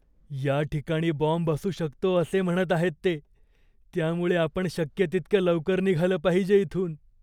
या ठिकाणी बॉम्ब असू शकतो असे म्हणत आहेत ते, त्यामुळे आपण शक्य तितक्या लवकर निघालं पाहिजे इथून.